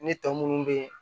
Ne tɔ munnu bɛ yen